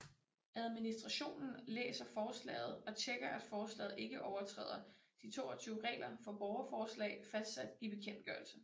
Administrationen læser forslaget og tjekker at forslaget ikke overtræder de 22 regler for borgerforslag fastsat i bekendtgørelsen